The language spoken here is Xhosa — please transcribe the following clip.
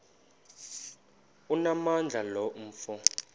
onamandla lo mfo